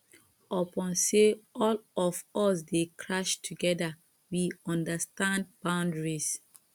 upon sey all of us dey crash together we understand boundaries